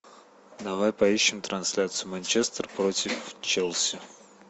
давай поищем трансляцию манчестер против челси